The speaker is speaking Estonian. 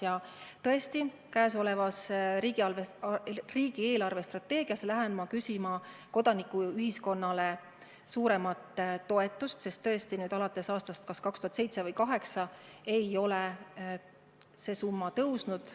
Ja tõesti, ma lähen käesoleva riigi eelarvestrateegia läbirääkimistel küsima kodanikuühiskonnale suuremat toetust, sest tõesti, alates aastast 2007 või 2008 ei ole see summa kasvanud.